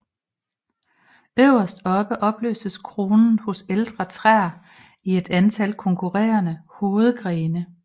Øverst oppe opløses kronen hos ældre træer i et antal konkurrerende hovedgrene